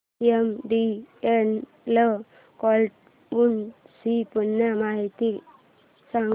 MTNL cloud ची पूर्ण माहिती सांग